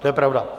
To je pravda.